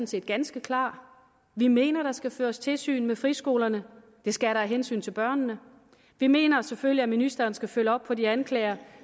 set ganske klar vi mener at der skal føres tilsyn med friskolerne det skal der af hensyn til børnene vi mener selvfølgelig at ministeren skal følge op på de anklager